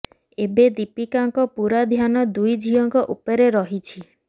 ଏବେ ଦୀପିକାଙ୍କ ପୂରା ଧ୍ୟାନ ଦୁଇ ଝିଅଙ୍କ ଉପରେ ରହିଛି